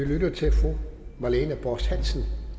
vi lytte til fru marlene borst hansen